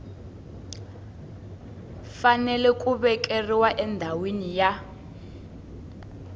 fanele ku vekiwa endhawini ya